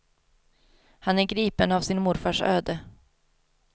Han är gripen av sin morfars öde.